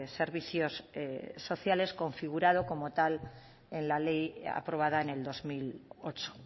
servicios sociales configurado como tal en la ley aprobada en el dos mil ocho